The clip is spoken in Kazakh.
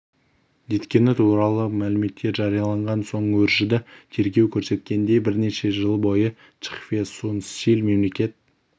еткені туралы мәліметтер жарияланған соң өршіді тергеу көрсеткендей бірнеше жыл бойына чхве сун силь мемлекет